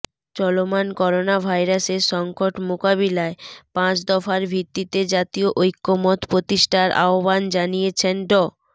চলমান করোনাভাইরাসের সংকট মোকাবিলায় পাঁচ দফার ভিত্তিতে জাতীয় ঐকমত্য প্রতিষ্ঠার আহ্বান জানিয়েছে ড